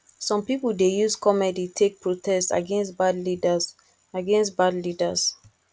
some pipo dey use comedy take protest against bad leaders against bad leaders